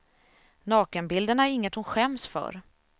Nakenbilderna är inget hon skäms för.